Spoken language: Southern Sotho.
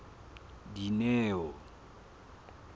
dineo